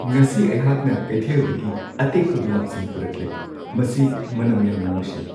ꯉꯁꯤ ꯑꯩꯍꯥꯛꯅ ꯀꯩꯊꯦꯜꯗꯒꯤ ꯑꯇꯦꯛꯄ ꯒꯨꯂꯥꯞꯁꯤꯡ ꯄꯨꯔꯛꯂꯦ꯫ ꯃꯁꯤ ꯃꯅꯝ ꯌꯥꯝꯅ ꯅꯨꯡꯁꯤ꯫